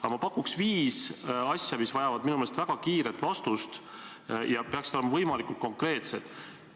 Aga ma pakuks välja viis asja, mis minu meelest vajavad väga kiiret vastust ja peaksid olema võimalikult konkreetsed.